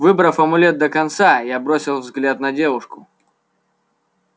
выбрав амулет до конца я бросил взгляд на девушку